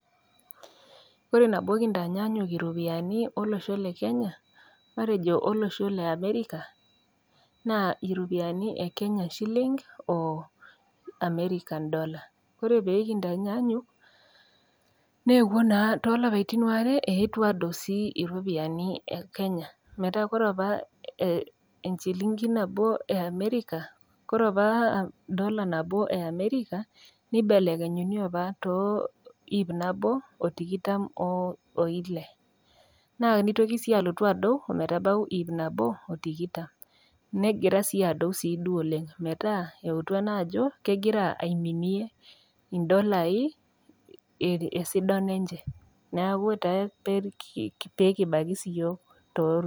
Ore nabo kintanyanyuk iropiyani olosho le kenya matejo olosho le America, na airopiyani e kenyan shilling oo american dollar, ore pekintanyanyuk neetuo naa tolapaitin aare eetuo adou sii ropiyani e kenya metaa ore apa enchilingi nabo e America naa ,koree apa. Dolar nabo e America nibekenyuti too iip nabo otikitam oile, na nitoki sii alotu adou ometabau iip nabo otikitam, negira si adou sii duo oleng ,metaa eutu ena ajo kegira aiminie indolai esidano enche ,neaku taa pekibaki siyiok too...